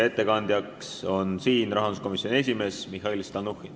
Ettekandja on rahanduskomisjoni esimees Mihhail Stalnuhhin.